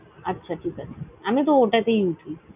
আচ্ছা ঠিক আছে। আমি তো ওটা তেই উঠি।